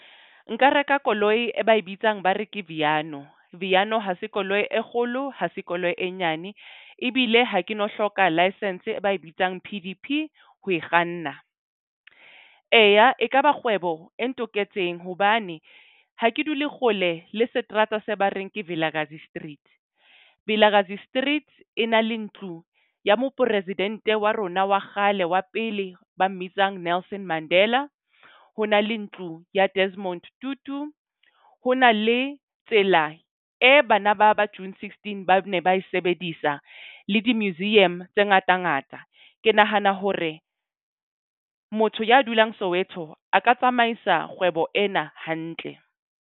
Nka reka koloi e ba e bitsang, ba reke Viano. Viano ha se koloi e kgolo ho sekolo e nyane. Ebile ha ke no hloka license ba e ba e bitsang P_D_P ho e kganna. Eya, e kaba kgwebo e nloketseng hobane ha ke dule kgole le seterata se ba reng ke Vilakazi Street. Vilakazi Street e na le ntlu ya moporesidente wa rona wa kgale wa pele ba mmitsang Nelson Mandela. Ho na le ntlu ya Desmond Tutu. Ho na le tsela e bana ba ba June sixteen ba ne ba e sebedisa le di-museum tse ngata ngata. Ke nahana hore motho ya dulang Soweto a ka tsamaisa kgwebo ena hantle.